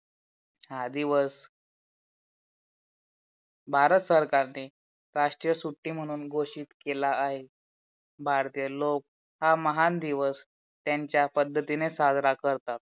हा दिवस भारत सरकारने राष्ट्रीय सुट्टी म्हणून घोषित केला आहे. भारतीय लोग हा महान दिवस त्यांच्या पद्धतीने साजरा करताता.